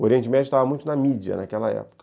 O Oriente Médio estava muito na mídia naquela época.